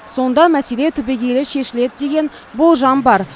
сонда мәселе түбегейлі шешіледі деген болжам бар